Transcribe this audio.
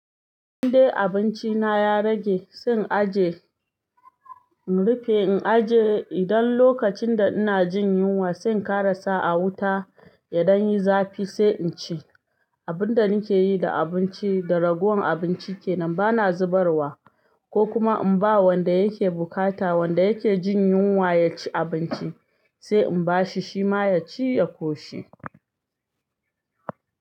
Indai abinci na ya rage, zan aje, in rufe, in aje idan lokacin da ina jin yunwa sai in ƙarasa a wuta idan yayi zafi sai in ci. Abun da nike yi da abinci da ragowar abinci kenan bana zubarwa ko kuma in ba wanda yake bukata wanda yake jin yunwa ya ci abinci sai in bashi shima ya ci ya koshi.